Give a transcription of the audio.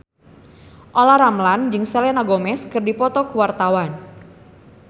Olla Ramlan jeung Selena Gomez keur dipoto ku wartawan